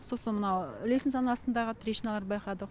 сосын мынау лестницаның астындағы трещиналарды байқадық